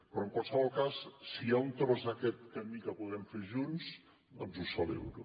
però en qualsevol cas si hi ha un tros d’aquest camí que podem fer junts doncs ho celebro